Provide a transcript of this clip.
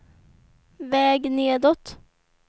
väg nedåt